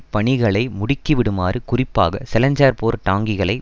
பணிகளை முடுக்கிவிடுமாறு குறிப்பாக செலஞ்சர் போர் டாங்கிகளை